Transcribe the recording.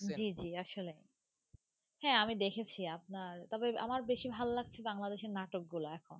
জী জী আসলে হ্যাঁ আমি দেখেছি আপনার তবে আমার বেশি ভাল লাগছে বাংলাদেশের নাটকগুলা এখন.